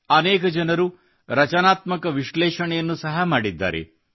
ಅನೇಕ ಜನರು ರಚನಾತ್ಮಕ ವಿಶ್ಲೇಷಣೆಯನ್ನು ಸಹ ಮಾಡಿದ್ದಾರೆ